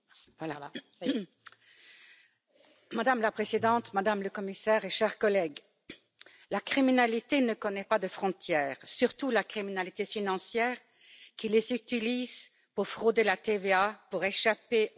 Madame la Présidente, Madame la Commissaire, chers collègues, la criminalité ne connaît pas de frontières, surtout la criminalité financière, qui les utilise pour frauder la TVA, pour échapper au fisc et pour blanchir de l'argent sale.